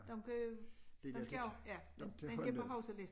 Dem købe dem skal jo ja de skal på huskelisten